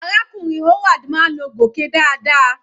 Arákùnrin Howard máa ń lo gòké dáadáa.